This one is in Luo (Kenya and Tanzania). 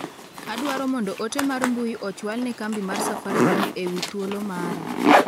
Adwao mondo ote mar mbui ochwal ne kambi mar safaricom ewi thuolo mara.